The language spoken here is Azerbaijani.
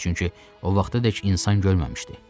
Çünki o vaxtadək insan görməmişdi.